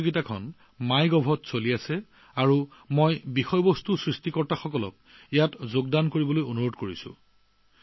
এই প্ৰতিযোগিতাখন চলি আছে মাই গভ পৰ্টেল আৰু মই কণ্টেণ্ট ক্ৰিয়েটৰসকলক জড়িত হবলৈ আহ্বান জনাম